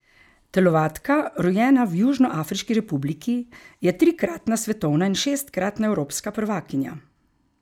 Telovadka, rojena v Južnoafriški republiki, je trikratna svetovna in šestkratna evropska prvakinja.